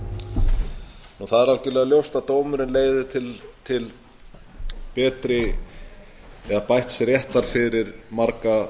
það er algerlega ljóst að dómurinn leiðir til bætts réttar fyrir marga